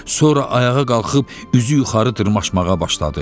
Sonra ayağa qalxıb üzü yuxarı dırmaşmağa başladı.